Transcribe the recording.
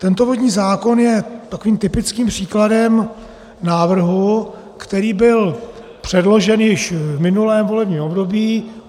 Tento vodní zákon je takovým typickým příkladem návrhu, který byl předložen již v minulém volebním období.